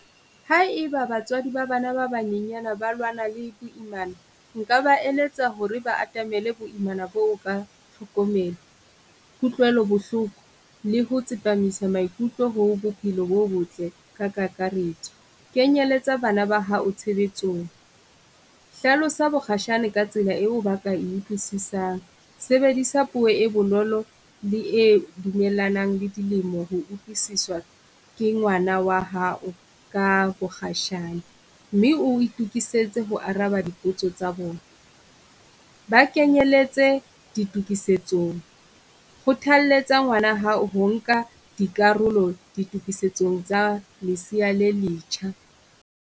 Haeba batswadi ba bana ba banyenyana ba lwana le boimana nka ba eletsa hore ba atamele boimana boo ka tlhokomelo, kutlwelo bohloko, le ho tsepamisa maikutlo ho bophelo bo botle ka kakaretso. Kenyeletsa bana ba hao tshebetsong, hlalosa bokgashane ka tsela eo ba ka e utlwisisang, sebedisa puo e bonolo le e dumellanang le dilemo ho utlwisiswa ke ngwana wa hao ka bokgashane. Mme o itokisetse ho araba dipotso tsa bona, ba kenyeletse ditokisetso kgothalletsa ngwana hao ho nka dikarolo ditokisetsong tsa lesea le letjha.